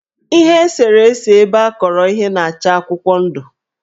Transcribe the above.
Ihe eserese ebeakọrọ ihe na-acha akụkwọndụ.